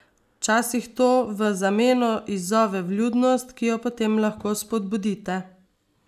Včasih to v zameno izzove vljudnost, ki jo potem lahko spodbudite.